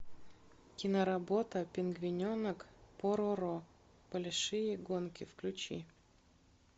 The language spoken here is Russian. киноработа пингвиненок пороро большие гонки включи